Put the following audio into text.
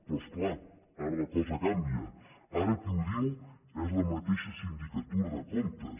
però és clar ara la cosa canvia ara qui ho diu és la mateixa sindicatura de comptes